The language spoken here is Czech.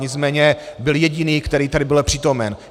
Nicméně byl jediný, který tady byl přítomen.